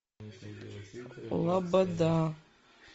лобода